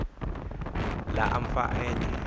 la amfani nye